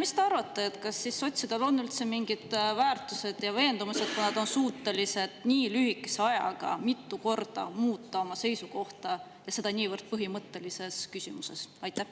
Mis te arvate, kas sotsidel on üldse mingid väärtused ja veendumused, kui nad on suutelised nii lühikese ajaga mitu korda oma seisukohta muutma ja seda niivõrd põhimõttelises küsimuses?